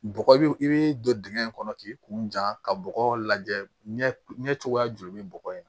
Bɔgɔ i b'i don dingɛ in kɔnɔ k'i kun jan ka bɔgɔ lajɛ bɔgɔ in na